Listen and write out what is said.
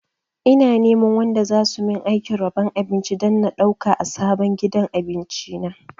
Ina neman wanda zasu min aikin rabon abinci don na ɗauka a sabon gidan abinci na